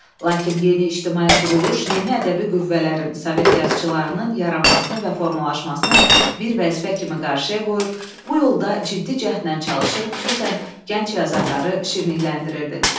Lakin yeni ictimai quruluş, yeni ədəbi qüvvələrin, Sovet yazıçılarının yaranmasını və formalaşmasını bir vəzifə kimi qarşıya qoyur, bu yolda ciddi cəhdlə çalışır, xüsusən gənc yazarları şirinləşdirirdi.